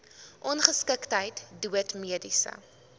ongeskiktheid dood mediese